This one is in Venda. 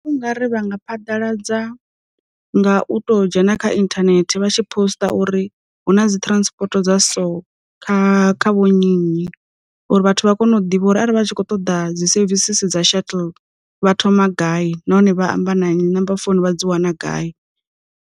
U ngari vhanga phadaladza, nga u to dzhena kha inthanethe vhatshi posṱa uri hu na dzi transport dza so kha kha vhonnyi, uri vhathu vha kone u ḓivha uri arali vha tshi kho ṱoḓa dzi sevisi dza shuttle, vha thoma gai nahone vha amba na nnyi number founu vha dzi wana gai.